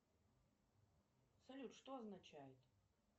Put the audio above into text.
салют что означает